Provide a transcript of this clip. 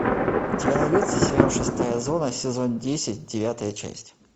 у тебя найдется сериал шестая зона сезон десять девятая часть